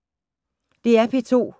DR P2